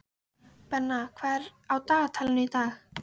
Benna, hvað er á dagatalinu í dag?